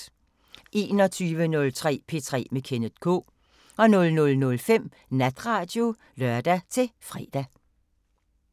21:03: P3 med Kenneth K 00:05: Natradio (lør-fre)